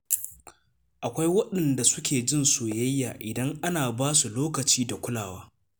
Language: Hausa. Akwai waɗanda suke jin soyayya idan ana ba su lokaci da kulawa.